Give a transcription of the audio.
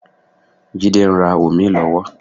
Jídé ń rà òmíì lọ́wọ́.